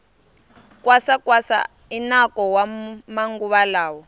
kwasa kwasa i nako wa maguva lawa